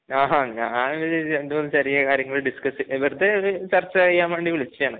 ആഹാ. ഞാൻ രണ്ടുമൂന്ന് ചെറിയ കാര്യങ്ങൾ ഡിസ്കസ് ചെയ്യാ, വെറുതെ ഒരു ചർച്ച ചെയ്യാൻവേണ്ടി വിളിച്ചതാണ്.